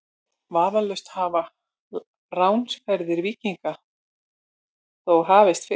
Vafalaust hafa ránsferðir víkinganna þó hafist fyrr.